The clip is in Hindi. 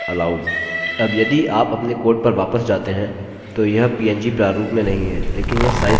अब यदि आप अपने कोड पर वापस जाते हैं तो यह png प्रारूप में नहीं है लेकिन यह साइज सीमा को बढ़ा रहा है